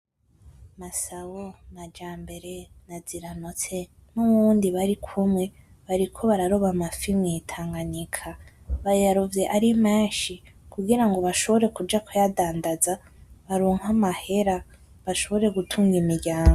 Masabo , Majambere, na Ziranotse nuwundi barikumwe bariko bararoba amafi mw’itanganyika. Bayarovye arimenshi kugirango bashobore kuja kuyadandaza baronke amahera bashobore gutunga imiryango.